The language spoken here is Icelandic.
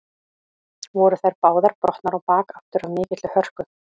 Voru þær báðar brotnar á bak aftur af mikilli hörku.